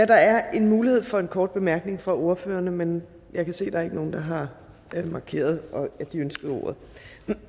der er mulighed for en kort bemærkning fra ordførerne men jeg kan se at der ikke er nogen der har markeret at de ønskede ordet